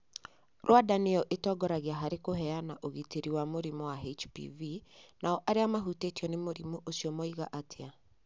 Rwanda nĩ yo ĩratongoria harĩ kũheana ũrigiti wa mũrimũ wa HPV, nao arĩa mahutĩtio nĩ mũrimũ ũcio moiga atĩa?